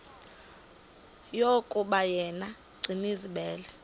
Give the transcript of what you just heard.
yokuba yena gcinizibele